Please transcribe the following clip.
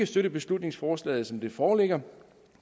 støtte beslutningsforslaget som det foreligger